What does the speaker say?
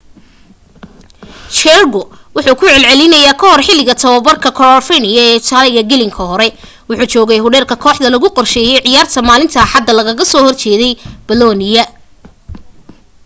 jarque wuxuu ku celcelinayey ka hor xiliga tobabarka coverciano ee italy gelinka hore wuxuu joogay hodheel ka koaxda lagu qorsheeyey ciyaarta maalinta axada lagaga soo hor jeedey bolonia